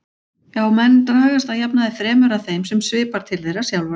Já, menn dragast að jafnaði fremur að þeim sem svipar til þeirra sjálfra.